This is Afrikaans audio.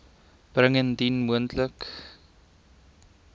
bring indien moontlik